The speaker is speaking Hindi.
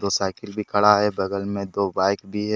दो साइकिल भी खड़ा है बगल में दो बाइक भी है।